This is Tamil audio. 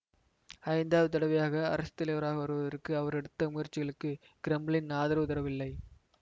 ஐந்தாவது தடவையாக அரசு தலைவராக வருவதற்கு அவர் எடுத்த முயற்சிகளுக்கு கிரெம்ளின் ஆதரவு தரவில்லை